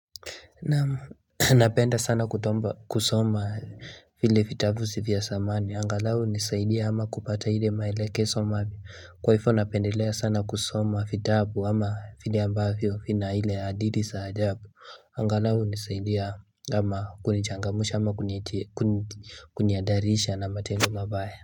Napenda sana kusoma vile vitabu vya samani angalau hunisaidia ama kupata hile maelekeso mapi kwa ifo napendelea sana kusoma vitabu ama vile ambavyo vina hile haditi saa ajabu Angalau hunisaidia ama kunichangamusha ama kuniadarisha na matendo mabaya.